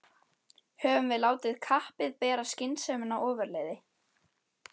Höfum við látið kappið bera skynsemina ofurliði?